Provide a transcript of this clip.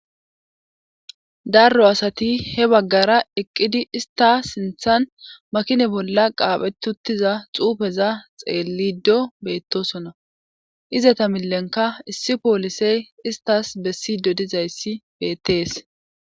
Darro asati he baggara eqqidi ista sinthan makine bolla qaaphetutiza xuufeza xeellido beettosona izata millenka issi poolisey istas bessidodizayssi beettees.